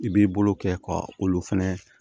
I b'i bolo kɛ ka olu fɛnɛ